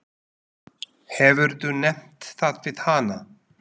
Hefurðu nefnt það við hana?